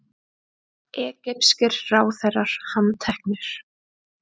Egypskir ráðherrar handteknir